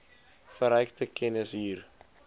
verrykte kennis hier